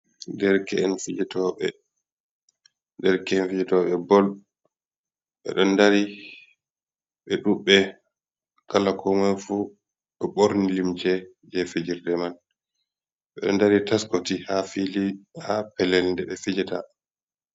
Derke’en fijetoɓe, dereke’en fijotoɓebol ɓeɗo dari ɓe ɗuɓbe kala koman fu ɓe ɓorni limce je fijirde man, ɓeɗo dari taskoti ha fili ha pelel nde ɓe fijeta.